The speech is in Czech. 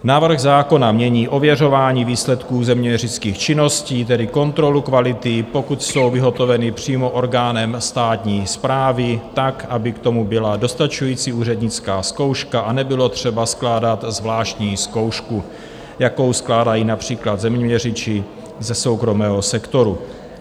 Návrh zákona mění ověřování výsledků zeměměřických činností, tedy kontrolu kvality, pokud jsou vyhotoveny přímo orgánem státní správy tak, aby k tomu byla dostačující úřednická zkouška a nebylo třeba skládat zvláštní zkoušku, jakou skládají například zeměměřiči ze soukromého sektoru.